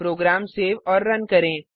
programme save और run करें